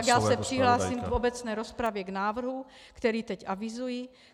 Dobře, tak já se přihlásím v obecné rozpravě k návrhu, který teď avizuji.